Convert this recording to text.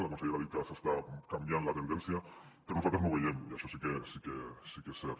la consellera ha dit que s’està canviant la tendència però nosaltres no ho veiem això sí que és cert